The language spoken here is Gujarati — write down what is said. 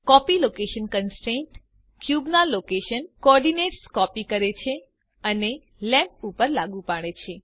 કોપી લોકેશન કન્સ્ટ્રેન્ટ ક્યુબના લોકેશન કોઓર્ડિનેટ્સને કોપી કરે છે અને લેમ્પ ઉપર લાગુ પાડે છે